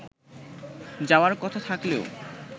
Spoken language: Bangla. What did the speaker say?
যাওয়ার কথা থাকলেও